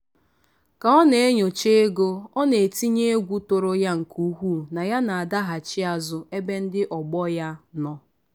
ka ọ na-enyocha ego ọ na-etinye egwu tụrụ ya nke ukwuu na ya na-adaghachi azụ ebe ndị ọgbọ ya nọ.